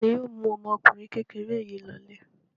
Ta ni yóò mú ọmọkùnrin kékeré yìí lọlé?